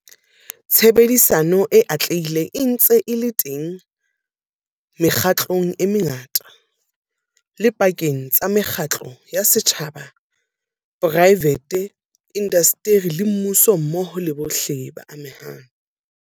Tshebedisano e atlehileng e se ntse e le teng mekgatlong e mengata, le pakeng tsa mekgatlo ya setjhaba-poraevete, indasteri le mmuso mmoho le bohle ba amehang.